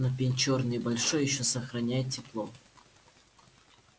но пень чёрный и большой ещё сохраняет тепло